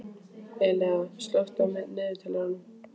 Elea, slökktu á niðurteljaranum.